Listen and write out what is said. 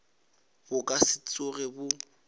bo ka se tsoge bo